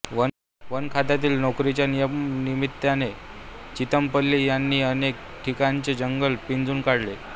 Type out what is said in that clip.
वनखात्यातील नोकरीच्या निमित्ताने चितमपल्लींनी अनेक ठिकाणचे जंगल पिंजून काढले